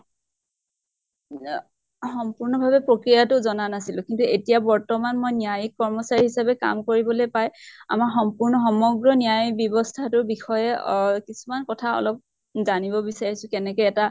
ইয়া সম্পূৰ্ণ ভাৱে প্ৰক্ৰিয়াটো জনা নাছিলো। কিন্তু এতিয়া বৰ্তমান মই ন্য়ায়িক কৰ্মচাৰী হিচাপে কাম কৰিবলৈ পাই আমাৰ সম্পূৰ্ণ সমগ্ৰ ন্য়ায়িক ব্য়ৱস্থা টোৰ বিষয়ে অ কিছুমান অলপ জানিব বিছাৰিছো কেনেকে এটা